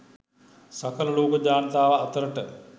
සකල ලෝක ජනතාව අතරට